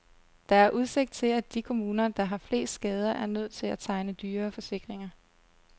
Der er udsigt til, at de kommuner, der har flest skader, er nødt til at tegne dyrere forsikringer.